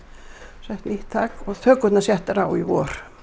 sett nýtt þak og þökurnar settar á í vor